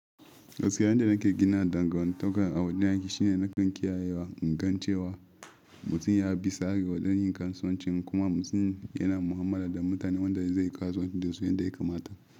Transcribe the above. Gaskiyar da nake gina dangantakar a wajen aiki shine nakan kiyayewa, ingan cewa, mutum ya bi tsare wajen yin kasuwanci kuma mutum yana mu'amala da mutane wanda zai yi kasuwanci da su yanda ya kamata.